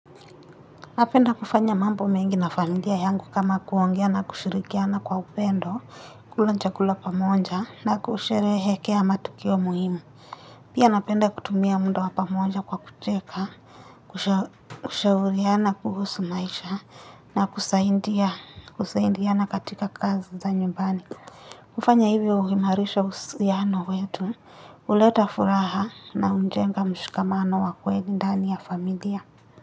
Napenda kufanya mambo mengi na familia yangu kama kuongea na kushirikiana kwa upendo, kula chakula pamoja na kusherehekea matukio muhimu. Pia napenda kutumia mda wa pamoja kwa kucheka, kushauriana kuhusu maisha na kusaindiana katika kazi za nyumbani. Kufanya hivyo uhimarisha husiano wetu, uleta furaha na unjenga mshikamano wa kweli ndani ya familia.